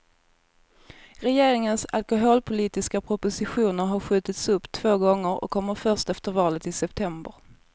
Regeringens alkoholpolitiska proposition har skjutits upp två gånger och kommer först efter valet i september.